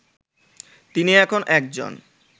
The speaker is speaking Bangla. তিনি এখন একজন